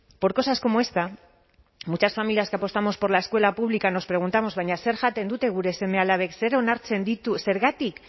por cosas como esta muchas familias que apostamos por la escuela pública nos preguntamos baina zer jaten dute gure seme alabek zer onartzen ditu zergatik